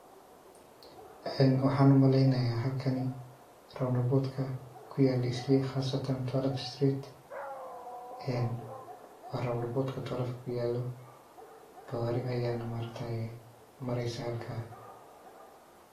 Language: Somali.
Een waxan umaleynaya halkani round aport ka kuyeela isli khasatan twelve Street wa round aport ka twelve ka kuyaalo gawari ayani mareysa halka.